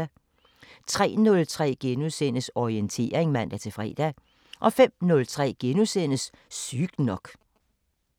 03:03: Orientering *(man-fre) 05:03: Sygt nok *